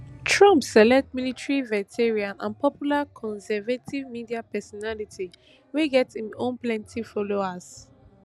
trump select military veteran and popular conservative media personality wey get im own plenty followers